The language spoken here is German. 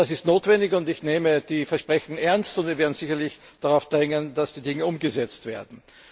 Das ist notwendig, und ich nehme die Versprechen ernst, und wir werden sicherlich darauf drängen, dass die Dinge umgesetzt werden.